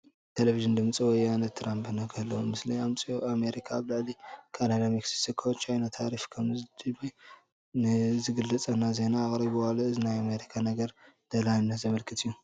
ቴለብዥን ድምፂ ወያነ እኒ ትራምፕ ንዘለዉዎ ምስሊ ኣምፂኦ ኣሜሪካ ኣብ ልዕሊ ካናዳ፣ ሜክሲኮን ቻይናን ታሪፍ ከምትድብይ ንዝገልፅ ዜና ኣቕሪቡ ኣሎ፡፡ እዚ ናይ ኣሜሪካ ነገር ደላይነት ዘመልክት እዩ፡፡